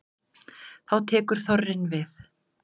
Þá tekur þorrinn við.